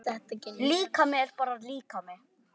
Líkami er bara líkami.